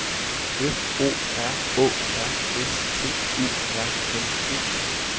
F O R Å R S T U R N E